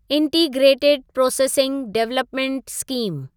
integrated processing development scheme